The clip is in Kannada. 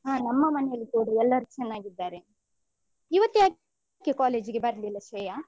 ಹ ನಮ್ಮ ಮನೆಯಲ್ಲಿ ಕೂಡ ಎಲ್ಲರು ಚೆನ್ನಾಗಿದ್ದಾರೆ ಇವತ್ಯಾಕೆ college ಗೆ ಬರ್ಲಿಲ್ಲ ಶ್ರೇಯ?